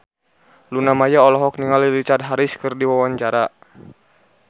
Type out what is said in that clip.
Luna Maya olohok ningali Richard Harris keur diwawancara